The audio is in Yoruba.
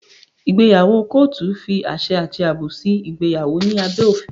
Ìgbéyàwó kọ́ọ́tù fi àṣẹ àti àbò sí ìgbéyàwó ní abẹ́ òfin.